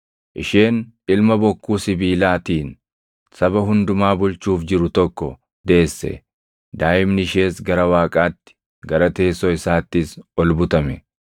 Isheen ilma bokkuu sibiilaatiin saba hundumaa bulchuuf jiru tokko deesse; daaʼimni ishees gara Waaqaatti, gara teessoo isaattis ol butame.